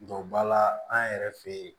Donba la an yɛrɛ fɛ yen